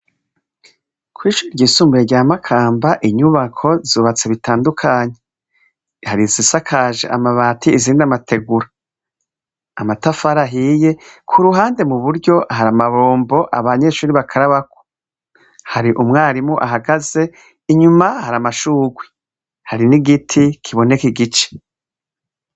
Kw'ishure ryisumbuye rya Makamba inyubako zubatse bitandukanye, hari izisakaje amabati izindi amategura, amatafari ahiye, ku ruhande mu buryo hari amabombo abanyeshuri bakarabako, hari umwarimu ahagaze, inyuma hari amashurwe, hari n'igiti kiboneke igice.